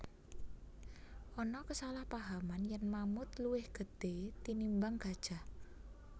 Ana kasalahpahaman yèn mamut luwih gedhé tinimbang gajah